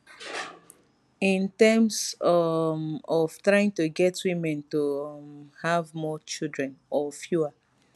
in terms um of trying to get women to um have more children or fewer